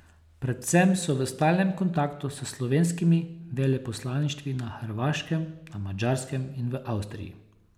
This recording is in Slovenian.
Predvsem so v stalnem kontaktu s slovenskimi veleposlaništvi na Hrvaškem, na Madžarskem in v Avstriji.